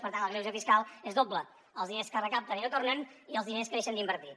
per tant el greuge fiscal és doble els diners que recapten i no tornen i els diners que deixen d’invertir